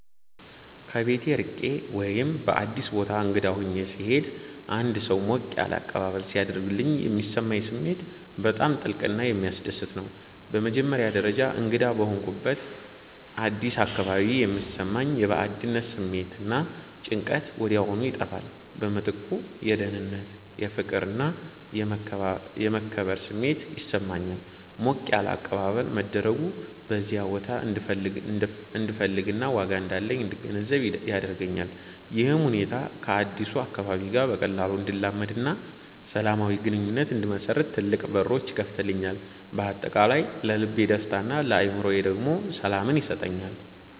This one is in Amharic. ከቤት ርቄ ወይም በአዲስ ቦታ እንግዳ ሆኜ ስሄድ አንድ ሰው ሞቅ ያለ አቀባበል ሲያደርግልኝ የሚሰማኝ ስሜት በጣም ጥልቅና የሚያስደስት ነው። በመጀመሪያ ደረጃ፣ እንግዳ በሆንኩበት አዲስ አካባቢ የሚሰማኝ የባዕድነት ስሜት እና ጭንቀት ወዲያውኑ ይጠፋል። በምትኩ የደህንነት፣ የፍቅር እና የመከበር ስሜት ይሰማኛል። ሞቅ ያለ አቀባበል መደረጉ በዚያ ቦታ እንድፈለግና ዋጋ እንዳለኝ እንድገነዘብ ያደርገኛል። ይህም ሁኔታ ከአዲሱ አካባቢ ጋር በቀላሉ እንድላመድና ሰላማዊ ግንኙነት እንድመሰርት ትልቅ በሮች ይከፍትልኛል። በአጠቃላይ ለልቤ ደስታን ለአእምሮዬ ደግሞ ሰላምን ይሰጠኛል።